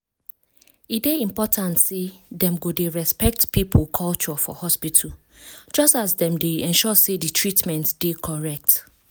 e dey important say dem go dey respect people culture for hospital just as dem dey ensure say di treatment dey correct.